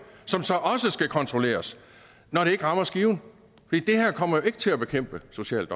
som så også skal kontrolleres når det ikke rammer skiven det her kommer jo ikke til at bekæmpe social